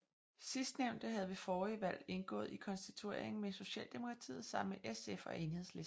Sidstnævnte havde ved forrige valg indgået i konstitueringen med Socialdemokratiet sammen med SF og Enhedslisten